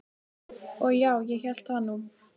Og já, ég hélt það nú.